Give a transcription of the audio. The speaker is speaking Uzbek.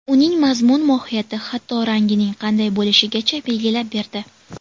Uning mazmun-mohiyati, hatto, rangining qanday bo‘lishigacha belgilab berdi.